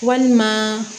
Walima